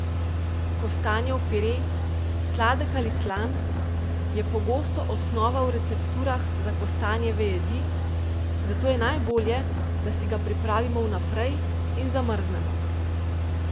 Kostanjev pire, sladek ali slan, je pogosto osnova v recepturah za kostanjeve jedi, zato je najbolje, da si ga pripravimo vnaprej in zamrznemo.